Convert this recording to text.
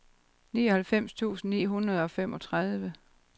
nioghalvfems tusind ni hundrede og femogtredive